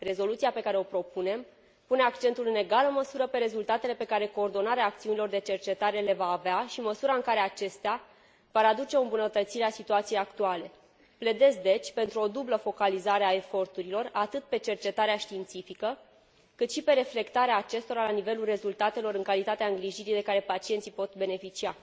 Rezoluția pe care o propunem pune accentul în egală măsură pe rezultatele pe care coordonarea acțiunilor de cercetare le va avea și măsura în care acestea vor aduce o îmbunătățire a situației actuale. Pledez, deci, pentru o dublă focalizare a eforturilor, atât pe cercetarea științifică, cât și pe reflectarea acestora la nivelul rezultatelor în calitatea îngrijirii de care pacienții pot beneficia.